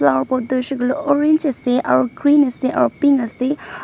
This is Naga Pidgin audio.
aro ghor tuh hoishe koile orange ase aro green ase aro pink ase.